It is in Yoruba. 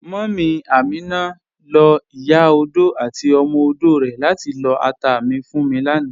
Múmí Amina ló̩ ìyá ọdò àti ọmọ ọdò rè̩ látí lọ́ àtà mi fún mi lànà.